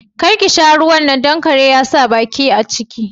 Karki sha ruwan nan, don kare ya sa baki a ciki